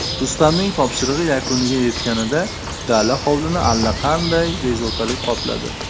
Rustamning topshirig‘i yakuniga yetganida dala hovlini allaqanday bezovtalik qopladi.